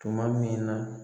Tuma min